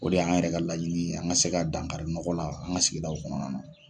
O de y'an yɛrɛ ka laɲini ye, an ka se ka dankari nɔgɔ la, an ka sigidaw kɔnɔna na.